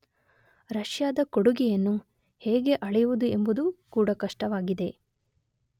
ರಷ್ಯಾದ ಕೊಡುಗೆಯನ್ನು ಹೇಗೆ ಅಳೆಯುವುದು ಎಂಬುದೂ ಕೂಡ ಕಷ್ಟವಾಗಿದೆ.